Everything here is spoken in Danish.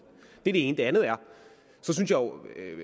det er det ene det andet er